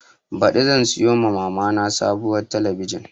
Baɗi zan siya ma mama na sabuwar talabijin